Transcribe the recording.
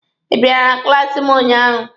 Ị biara na klaasi m ụnyaahụ?